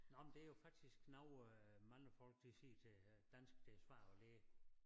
Nåh men det jo faktisk noget øh mange folk de siger til øh dansk det svært at lære